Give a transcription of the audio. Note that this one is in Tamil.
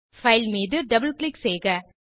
பைல் மீது டபிள் கிளிக் செய்க